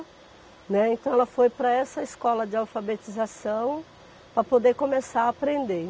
Né. Então, ela foi para essa escola de alfabetização para poder começar a aprender.